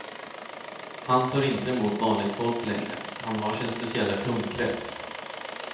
Han tar inte emot vanligt folk längre, han har sin speciella kundkrets.